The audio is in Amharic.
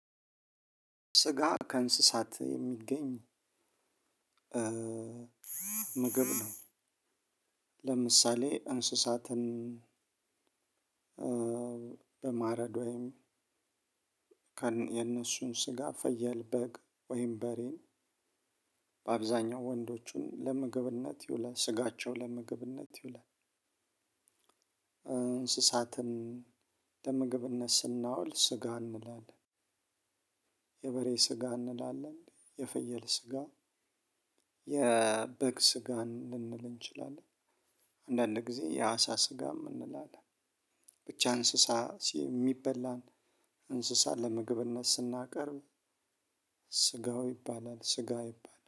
ስጋ ከእንስሳት የሚገኝ ምግብ ነው። ለምሳሌ እንስሳትን በማረድ ወይም የነሱን ስጋ ፈየል፣ በግ ወይም በሬን በአብዛኛው ወንዶቹን ለምግብነት ይውላል ስጋቸው ለምግብነት ይውላል። እንስሳትን ለምግብነት ስናውል ስጋ እንላለን የበሬ ስጋ እንላለን የፈየል ስጋ፣ የበግ ስጋ ልንል እንችላለን አንዳንድ ጊዜ የአሳ ስጋም እንላለን ብቻ እንስሳ የሚበላን እንስሳ ለምግብነት ስናቀርብ ስጋው ይባላል ስጋ ይባላል